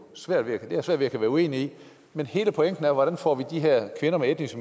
svært ved at være uenig i men hele pointen er hvordan vi får de her kvinder med etnisk